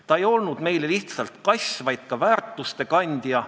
Ta ei olnud meile lihtsalt kass, vaid ka väärtuste kandja.